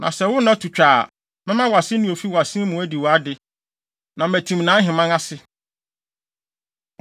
Na sɛ wo nna to twa a, mɛma wʼaseni a ofi wʼasen mu adi wʼade, na matim nʼaheman ase.